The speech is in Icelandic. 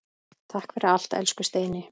Takk fyrir allt, elsku Steini.